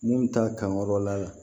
Mun bɛ taa kankɔrɔ la